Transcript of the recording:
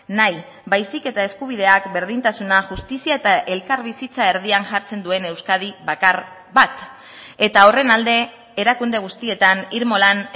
nahi baizik eta eskubideak berdintasuna justizia eta elkarbizitza erdian jartzen duen euskadi bakar bat eta horren alde erakunde guztietan irmo lan